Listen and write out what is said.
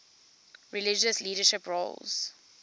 religious leadership roles